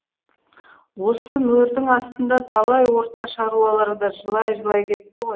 осы мөрдің астында талай орта шаруалар да жылай жылай кетті ғой